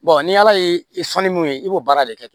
ni ala ye sɔnni mun ye i b'o baara de kɛ